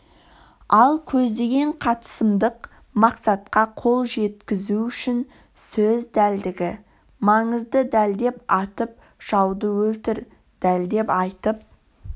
ал көздеген қатысымдық мақсатқа қол жеткізу үшін сөз дәлдігі маңызды дәлдеп атып жауды өлтір дәлдеп айтып